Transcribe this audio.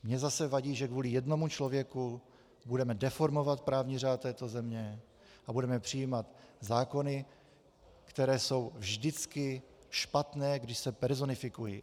Mně zase vadí, že kvůli jednomu člověku budeme deformovat právní řád této země a budeme přijímat zákony, které jsou vždycky špatné, když se personifikují.